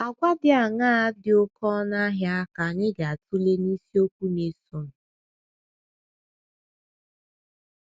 Àgwà dị aṅaa dị oké ọnụ ahịa ka anyị ga - atụle n’isiokwu na - esonụ?